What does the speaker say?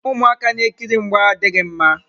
Ụmụaka na-ekiri mgba adịghị mma.